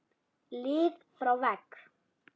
lið frá vegg?